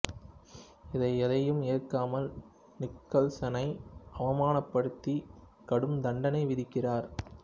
இதை எதையும் ஏற்காமல் நிக்கல்சனை அவமானப்படுத்தி கடும் தண்டனை விதிக்கிறார்